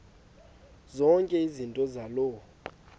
zonke izinto zaloo